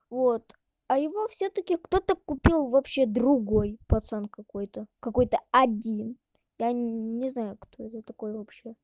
вот а его всё-таки кто-то купил вообще другой пацан какой-то какой-то один я не знаю кто это такой ввообще